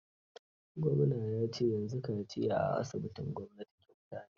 Gwamna ya ce yanzu kaciya a asibitin gwamnati kyauta ne.